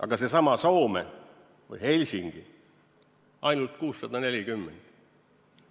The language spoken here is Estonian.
Aga seesama Soome või Helsingi – ainult 640 ruutmeetrit.